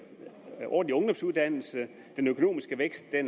ordentlig ungdomsuddannelse den økonomiske vækst er